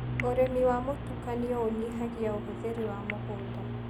ũrĩmi wa mũtukanio ũnyihagia ũhũthĩri wa mũgunda.